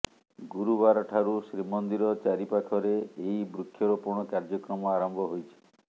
ଗୁରୁବାରଠାରୁ ଶ୍ରୀମନ୍ଦିର ଚାରିପାଖରେ ଏହି ବୃକ୍ଷରୋପଣ କାର୍ଯ୍ୟକ୍ରମ ଆରମ୍ଭ ହୋଇଛି